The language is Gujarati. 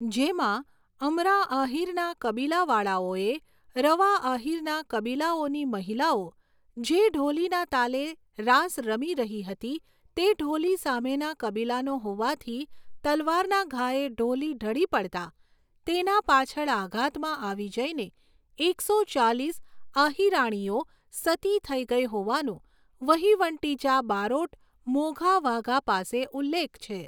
જેમાં અમરા આહિરના કબીલાવાળાઓએ રવા આહિરના કબીલાઓની મહિલાઓ જે ઢોલીના તાલે રાસ રમી રહી હતી તે ઢોલી સામેના કબીલાનો હોવાથી તલવારના ઘાએ ઢોલી ઢળી પડતાં તેના પાછળ આઘાતમાં આવી જઈને એકસો ચાલીસ આહિરાણીઓ સતી થઈ ગઈ હોવાનું વહીવંટીચા બારોટ મોઘા વાઘા પાસે ઉલ્લેખ છે.